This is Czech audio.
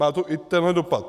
Má to i tenhle dopad.